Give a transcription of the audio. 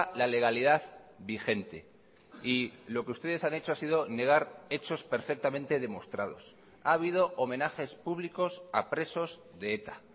la legalidad vigente y lo que ustedes han hecho ha sido negar hechos perfectamente demostrados ha habido homenajes públicos a presos de eta